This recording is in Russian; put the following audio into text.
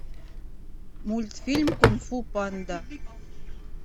мультфильм кунг фу панда